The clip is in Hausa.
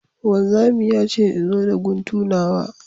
Wanzami ya ce in zo da guntu nawa